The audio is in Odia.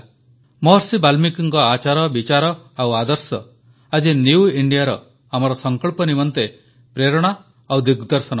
ମହର୍ଷି ବାଲ୍ମୀକିଙ୍କ ଆଚାର ବିଚାର ଓ ଆଦର୍ଶ ଆଜି ନ୍ୟୁ Indiaର ଆମର ସଙ୍କଳ୍ପ ନିମନ୍ତେ ପ୍ରେରଣା ଏବଂ ଦିଗ୍ଦର୍ଶନ ମଧ୍ୟ